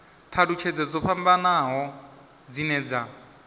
thalutshedzo dzo fhambanaho dzine dza